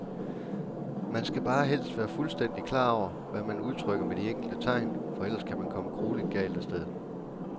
Man skal bare helst være fuldstændigt klar over, hvad man udtrykker med de enkelte tegn, for ellers kan man komme grueligt galt af sted.